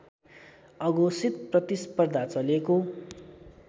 अघोषित प्रतिस्पर्धा चलेको